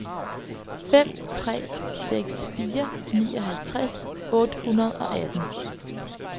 fem tre seks fire nioghalvtreds otte hundrede og atten